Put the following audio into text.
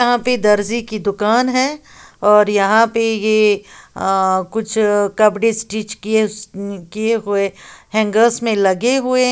यहां पे दर्जी की दुकान है और यहां पे ये अ कुछ कपड़े स्टिच किए उस्न किए हुए हैंगर्स में लगे हुए --